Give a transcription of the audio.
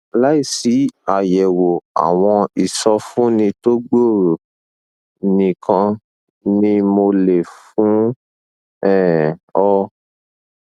láìsí àyẹwò àwọn ìsọfúnni tó gbòòrò nìkan ni mo lè fún um ọ